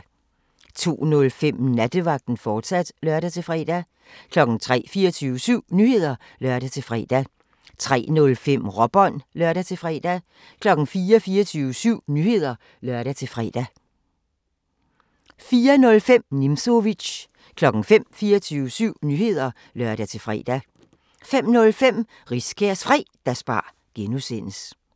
02:05: Nattevagten, fortsat (lør-fre) 03:00: 24syv Nyheder (lør-fre) 03:05: Råbånd (lør-fre) 04:00: 24syv Nyheder (lør-fre) 04:05: Nimzowitsch 05:00: 24syv Nyheder (lør-fre) 05:05: Riskærs Fredagsbar (G)